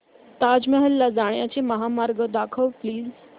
ताज महल ला जाण्याचा महामार्ग दाखव प्लीज